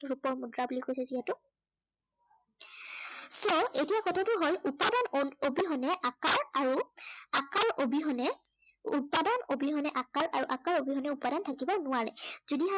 ৰূপৰ মুদ্ৰা বুলি কৈছে যিহেতু। so এতিয়া কথাটো উপাদান অবিহনে আকাৰ, আৰু আকাৰ অবিহনে, উপাদান অবিহনে আকাৰ, আৰু আকাৰ অবিহনে উপাদান থাকিব নোৱাৰে। যদিহে